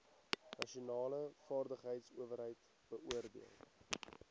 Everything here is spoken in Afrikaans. nasionale vaardigheidsowerheid beoordeel